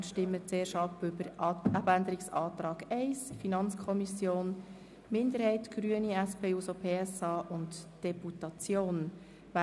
Wir stimmen zuerst über den Abänderungsantrag 1 der FiKo-Minderheit, der Grünen, der SP-JUSO-PSA und der Deputation ab.